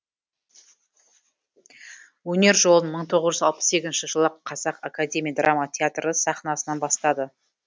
өнер жолын мың тоғыз жүз алпыс сегізінші жылы қазақ академия драма театры сахнасынан бастады